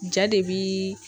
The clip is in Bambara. Ja de bi